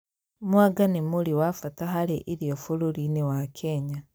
Mwanga nĩ mũri wa bata harĩ irio bũrũri-inĩ wa Kenya